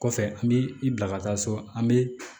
Kɔfɛ an bi i bila ka taa so an bɛ